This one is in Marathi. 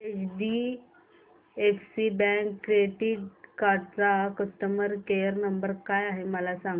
एचडीएफसी बँक क्रेडीट कार्ड चा कस्टमर केयर नंबर काय आहे मला सांगा